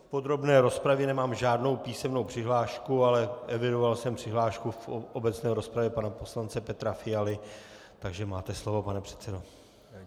K podrobné rozpravě nemám žádnou písemnou přihlášku, ale evidoval jsem přihlášku v obecné rozpravě pana poslance Petra Fialy, takže máte slovo, pane předsedo.